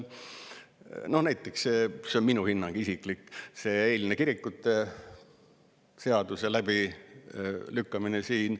No näiteks – see on küll minu isiklik hinnang – see eilne kirikute seaduse läbilükkamine siin.